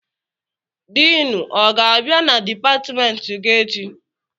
Diinu ọ ga-abịa na dipatịmentị gị echi?